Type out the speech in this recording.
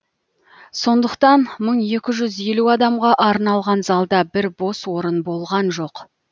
сондықтан мың екі жүз елу адамға арналған залда бір бос орын болған жоқ